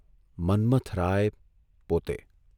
મન્મથરાય પોતે !